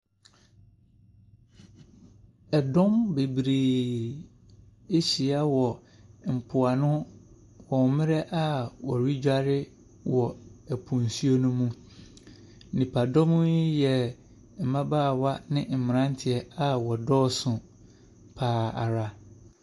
Ɛdɔm bebree ahyia wɔ mpoano wɔ mmerɛ a wɔredware wɔ po nsuo ne mu. Nnipadɔm yi yɛ mmabaawa ne mmeranteɛ a wɔdɔɔso pa ara.